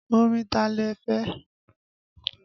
Orin ta lẹ́ fẹ́?